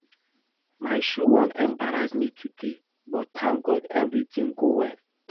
My shoe wan embarrass me today but thank God everything go well